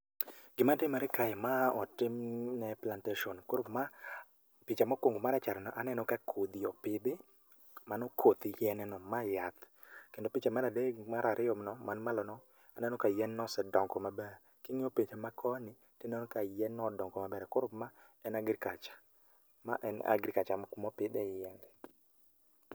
Gimatimre kae ma otim ne plantation koro ma, picha mokwongo marachar no aneno ka kodhi opidhi, mano koth yien no ma yath. Kendo picha mar adek gi mar ariyo no, man malo no, aneno ka yien no osedongo maber. King'iyo picha ma koni, tineno ka yienno odongo maber, koro ma en agriculture. Ma en agriculture moko mopidhe yiende